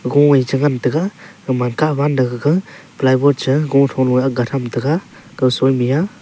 komai chu ngan tega aman kah wan gega ply bord che go tho nuya agan tega kow soi miya.